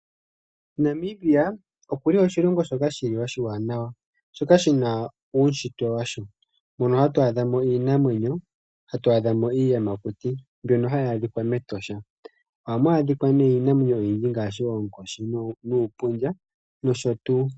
Namibia oku li oshilongo shoka oshiwanawa, shoka shina uunshitwe washo, mono hatu adhamo iinamwenyo, hatu adhamo iiyamakuti, mbyono hayi adhika MEtosha. Ohamu adhika iinamwenyo oyindji ngaashi oonkoshi, uupundja, nosho tuu.